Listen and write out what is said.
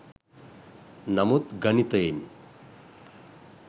නමුත් ගණිතයෙන්